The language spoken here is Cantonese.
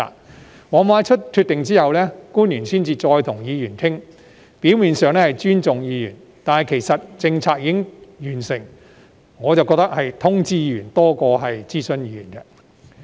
官員往往在作出決定後才跟議員商討，表面上是尊重議員，但由於政策已經完成，我覺得是通知議員而非諮詢議員。